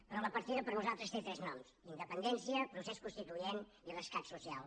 però la partida per nosaltres té tres noms independència procés constituent i rescat social